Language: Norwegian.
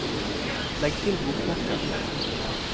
legg til bokmerke